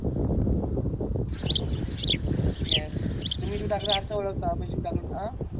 yes तुम्ही शिव ठाकरे ओळखता मी शिव ठाकरे अं